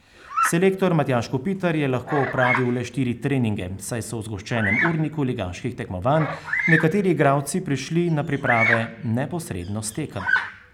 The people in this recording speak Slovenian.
Selektor Matjaž Kopitar je lahko opravil le štiri treninge, saj so v zgoščenem urniku ligaških tekmovanj nekateri igralci prišli na priprave neposredno s tekem.